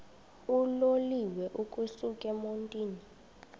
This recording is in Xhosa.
uloliwe ukusuk emontini